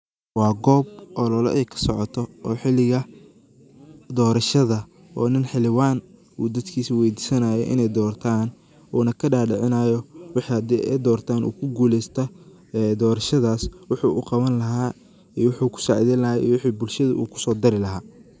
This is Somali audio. Wa koob olola ay kasocotoh oo xeelika doorashada nin xeelawan oo degankisa weedisanayoh ini doortaan wuuna kadadicinayo waxe handay Aya doortan oo ku guuleystah doorashadas waxi u Qawan laha iyo wixi kusacedeyni lahay ee bulshada oo kuso darilahay.